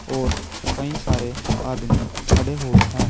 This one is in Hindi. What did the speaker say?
और कई सारे आदमी खड़े हुए हैं।